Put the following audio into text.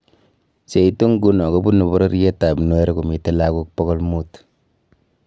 Cheitu inguno kobunu bororiet ab Nuer komite lagook pogolmut